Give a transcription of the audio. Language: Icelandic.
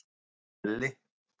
Elli